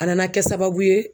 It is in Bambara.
A nana kɛ sababu ye